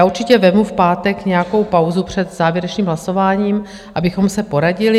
Já určitě vezmu v pátek nějakou pauzu před závěrečným hlasováním, abychom se poradili.